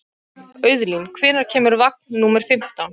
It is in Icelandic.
Auðlín, hvenær kemur vagn númer fimmtán?